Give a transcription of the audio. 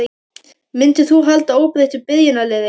Myndir þú halda óbreyttu byrjunarliði?